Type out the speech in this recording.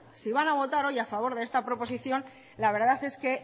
si van a votar hoy a favor de esta proposición la verdad es que